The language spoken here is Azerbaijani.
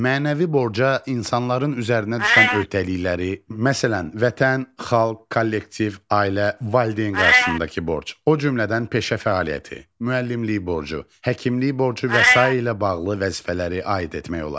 Mənəvi borca insanların üzərinə düşən öhdəlikləri, məsələn, vətən, xalq, kollektiv, ailə, valideyn qarşısındakı borc, o cümlədən peşə fəaliyyəti, müəllimlik borcu, həkimlik borcu və sairə ilə bağlı vəzifələri aid etmək olar.